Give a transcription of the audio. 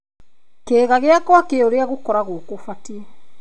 Kĩĩga gĩakwa kĩ ũrĩa gũkoragwo gũbatie.